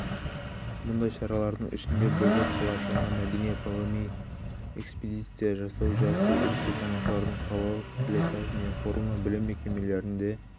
мұндай шаралардың ішінде бозоқ қалашығына мәдени-ғылыми экспедиция жасау жас өлкетанушылардың қалалық слеті мен форумы білім мекемелерінде